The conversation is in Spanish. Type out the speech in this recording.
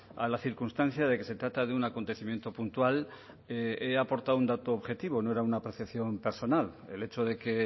a la circunstancia de que se trata de un acontecimiento puntual he aportado un dato objetivo no era una percepción personal el hecho de que